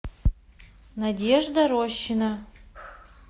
надежда рощина